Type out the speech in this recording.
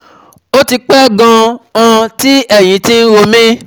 Ó ti pẹ́ gan-an tí ẹ̀yìn ti ń ro mí